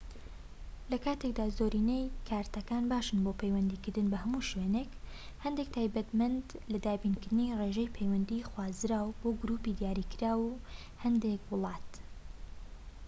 لە کاتێکدا زۆرینەیی کارتەکان باشن بۆ پەیوەندیکردن بە هەموو شوێنێک هەندێک تایبەتمەندن لە دابینکردنی ڕێژەی پەیوەندی خوازراو بۆ گروپی دیاریکراوی هەندێک وڵات